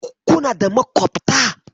Kuna da makwabta?